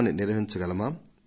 రైతులకు మట్టి అవసరం ఉంటుంది